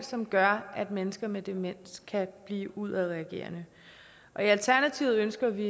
som gør at mennesker med demens kan blive udadreagerende og i alternativet ønsker vi